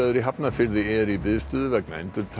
í Hafnarfirði eru í biðstöðu vegna